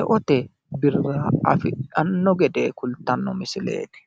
e"ote birra afidhanno gede kultanno misileeti.